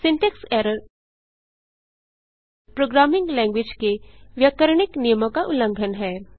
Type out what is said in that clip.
syntax error programming language के व्याकरणिक नियमों का उल्लंघन है